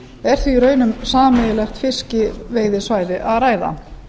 er því í raun um sameiginlegt fiskveiðisvæði að ræða